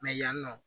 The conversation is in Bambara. yan nɔ